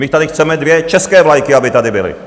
My tady chceme dvě české vlajky, aby tady byly.